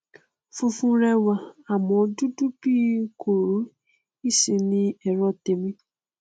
funfun rẹ wà àmọ dúdú bíi kóró isin ni ẹrọ tèmi